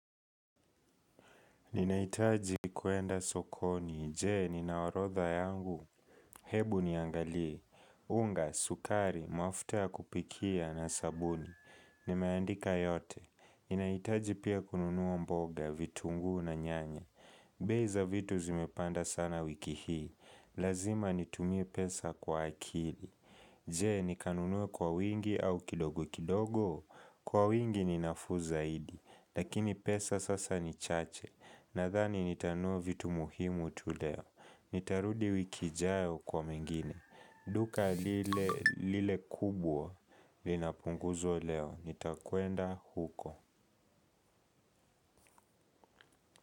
Ninaitaji kuenda sokoni, jee nina orodha yangu, hebu niangalie, unga, sukari, mafuta ya kupikia na sabuni, nimeandika yote. Ninaitaji pia kununua mboga, vitunguu na nyanya, bei za vitu zimepanda sana wiki hii, lazima nitumie pesa kwa akili. Jee nikanunue kwa wingi au kidogo kidogo. Kwa wingi ni nafuu zaidi. Lakini pesa sasa ni chache. Nadhani nitanunua vitu muhimu tu leo. Nitarudi wiki ijayo kwa mengine. Duka lile kubwa linapunguzwa leo. Nitakwenda huko.